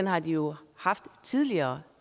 har de jo haft tidligere